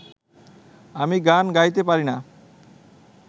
আমি গান গাইতে পারি না